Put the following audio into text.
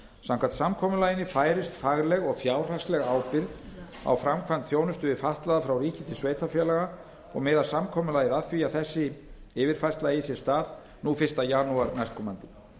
samkvæmt samkomulaginu færist fagleg og fjárhagsleg ábyrgð á framkvæmd þjónustu við fatlaða frá ríki til sveitarfélaga og miðar samkomulagið að því að þessi yfirfærsla eigi sér stað fyrsta janúar næstkomandi